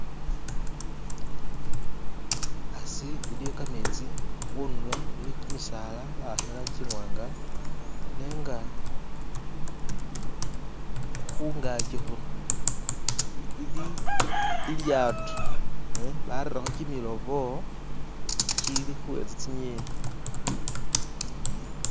Hasi iliyo kametsi khunulo iliyo kimisaala bawakha i'langi iwaanga nenga khungaki khuno ili lilyato barelekho kimilobo kili khuwentsa tsingeni.